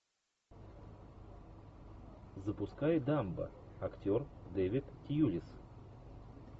запускай дамбо актер дэвид тьюлис